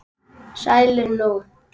Sælir nú.